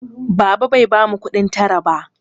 Baba bai bamu kuɗin tara ba.